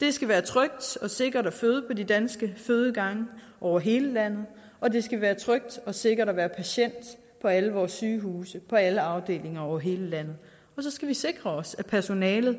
det skal være trygt og sikkert at føde på de danske fødegange over hele landet og det skal være trygt og sikkert at være patient på alle vores sygehuse på alle afdelinger over hele landet og så skal vi sikre os at personalet